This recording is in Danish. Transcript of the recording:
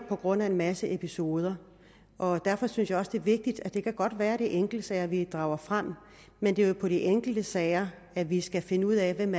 baggrund i en masse episoder og derfor synes jeg også det er vigtigt det kan godt være det er enkeltsager vi drager frem men det er jo på de enkelte sager vi skal finde ud af hvem